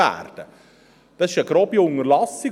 Das ist eine grobe Unterlassung.